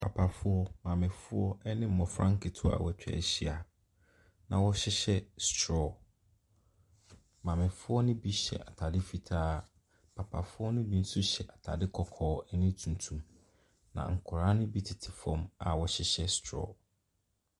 Papafoɔ, maamefoɔ ɛne nkɔlaa nketewa w'atwa ahyia na wɔhyehyɛ strɔ. Maamefoɔ ne bi hyɛ ataare fitaa. Papafoɔ ne bi nso hyɛ ataare kɔkɔɔ ɛne tuntum na nkɔlaa ne bi tete fɔm a ɔmo hyɛ strɔ.